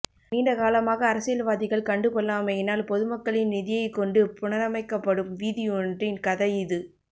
நீண்டகாலமாக அரசியல்வாதிகள் கண்டுகொள்ளாமையினால் பொதுமக்களின் நிதியைக்கொண்டு புனரமைக்கப்படும் வீதியொன்றின் கதை இது